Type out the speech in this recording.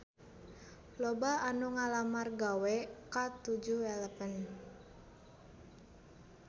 Loba anu ngalamar gawe ka 7-eleven